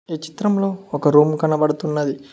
ఈ చిత్రంలో ఒక రూమ్ కనబడుతున్నది.